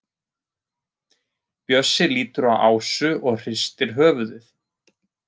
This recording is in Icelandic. Bjössi lítur á Ásu og hristir höfuðið.